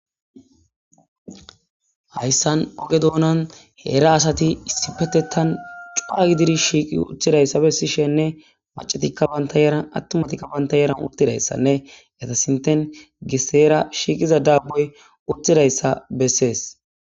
hayssan oge doonan heera asati issi petettan cua gidiri shiiqi uththidayssa bessishenne macetikka banta yaran attumatikka banta yaran urtidayssanne eta sinten giseera shiiqiza daabboy uthidayssa bessees